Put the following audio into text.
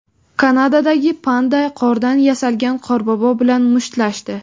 Kanadadagi panda qordan yasalgan Qorbobo bilan mushtlashdi .